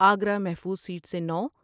آگرہ محفوظ سیٹ سے نو ۔